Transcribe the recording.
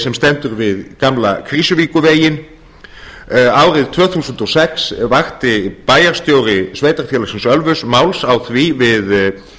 sem stendur við gamla krýsuvíkurveginn árið tvö þúsund og sex vakti bæjarstjóri sveitarfélagsins ölfuss máls á því við